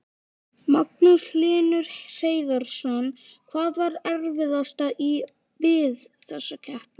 Magnús Hlynur Hreiðarsson: Hvað var erfiðast í, við þessa keppni?